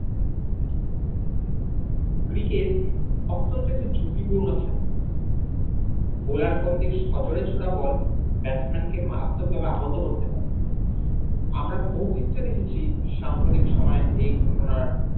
cricket অত্যন্ত একটি ঝুঁকিপূর্ণ খেলা বলার থেকে bats man কে মারাত্মক ভাবে আহত করতে পারে আমরা বহু ক্ষেত্রে দেখেছি সাম্প্রদায়িক সময়ে এই ঘটনার